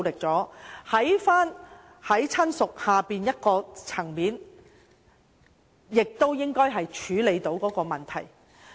在"親屬"以下的層面，應已能處理這個問題。